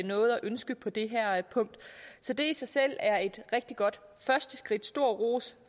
noget at ønske på det her punkt så det i sig selv er et rigtig godt første skridt stor ros